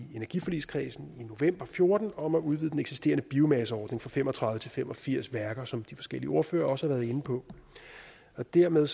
energiforligskredsen i november fjorten om at udvide den eksisterende biomasseordning fra fem og tredive til fem og firs værker som de forskellige ordførere også har været inde på og dermed